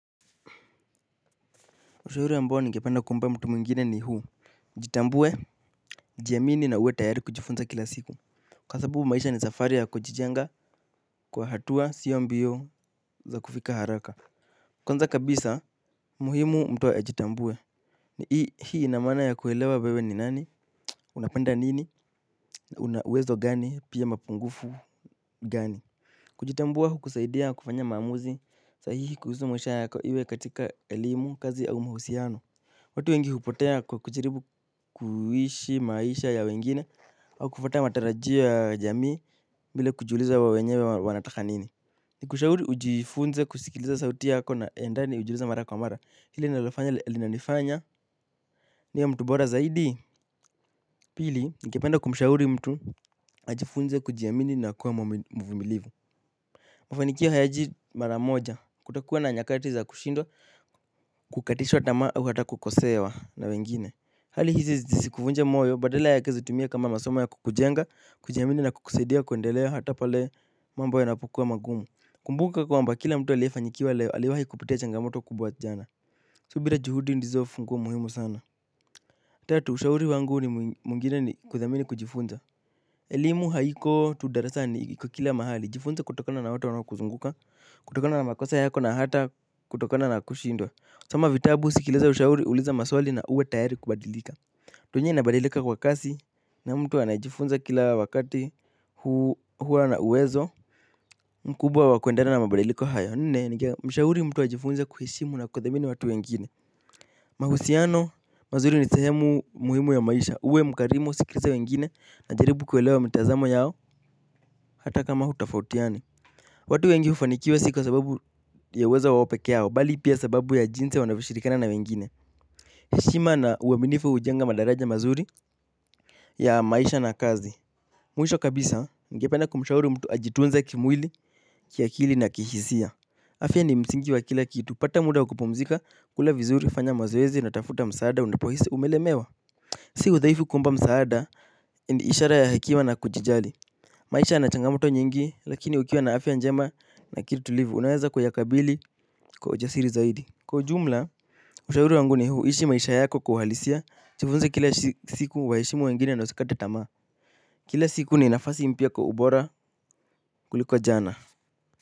Ushauri amboa ningepanda kumpa mtu mwingine ni huu. Jitambue, jiamini na uwe tayari kujifunza kila siku. Kwa sababu maisha ni safari ya kujijenga kwa hatua siyo mbio za kufika haraka. Kwanza kabisa muhimu mtu ajitambue. Hii ina maana ya kuelewa wewe ni nani, unapenda nini, una uwezo gani pia mapungufu gani. Kujitambua hukusaidia kufanya maamuzi sahihi kuhusu maisha yako iwe katika elimu, kazi au mahusiano. Watu wengi hupotea kwa kujaribu kuishi maisha ya wengine au kufuata matarajio ya jamii bila kujiuliza wao wenyewe wanataka nini. Nikushauri ujifunze kusikiliza sauti yako na endani hujiuliza mara kwa mara ile linalofanya lina nifanya niwe mtu bora zaidi. Pili ningependa kumshauri mtu ajifunze kujiamini na kuwa mvumilivu. Mufanikio hayaji mara moja kutakuwa na nyakati za kushinda kukatishwa tamaa au hata kukosewa na wengine. Hali hizi zisikuvunje moyo, badala yake zitumie kama masomo ya kukujenga, kujemiamini na kukusaidia kuendelea hata pale mambo yanapokua magumu. Kumbuka kwamba kila mtu aliye fanikiwa aliwahi kupitia changamoto kubwa jana. Subira juhudi ndizo funguo muhimu sana. Tatu ushauri wangu ni mwingine ni kuthamini kujifunza. Elimu haiko tu darasa ni iko kila mahali, jifunza kutokana na watu wanaokuzunguka, kutokana na makosa yako na hata kutokana na kushindwa. Soma vitabu sikiliza ushauri uliza maswali na uwe tayari kubadilika watu wengine wanabadilika kwa kazi na mtu anayejifunzs kila wakato hu huwa na uwezo. Mkubwa wa kuendana na mabadiliko hayo nne ninge mshauri mtu ajifunza kuheshimu na kuthamini watu wengine. Mahusiano mazuri ni sahemu muhimu ya maisha uwe mkarimu sikiliza wengine na jaribu kuelewa mtazamo yao hata kama hutofautiani. Watu wengi hufanikiwa si kwa sababu ya uwezo wao peke yao bali pia sababu ya jinsi wanavyoshirikiana na wengine. Heshima na uaminifu hujenga madaraja mazuri ya maisha na kazi. Mwisho kabisa, ningependa kumshauri mtu ajitunza kimwili kiakili na kihisia. Afya ni msingi wa kila kitu pata muda wa kupumzika kula vizuri fanya mazoezi na tafuta msaada unapohisi umelemewa. Si udhaifu kwamba msaada, ishara ya hekima na kujijali. Maisha yana changamumoto nyingi lakini ukiwa na afya njema na kitulivu, unaweza kuyakabili kwa ujasiri zaidi. Kwa ujumla ushauri wangu ni huu ishi maisha yako kwa uhalisia jifunze kila siku waheshimu wengine na usikate tamaa. Kila siku ni nafasi mpya kwa ubora kuliko jana.